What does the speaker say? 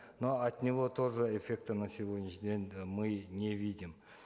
но от него тоже эффекта на сегодняшний день э мы не видим